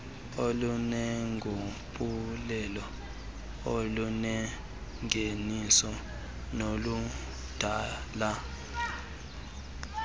oluneenguqulelo olunengeniso noludala